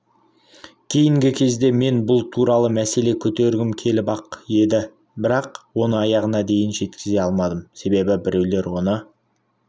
кейінгі кезде мен бұл туралы мәселе көтергім келіп-ақ еді бірақ оны аяғына дейін жеткізе алмадым себебі біреулер оны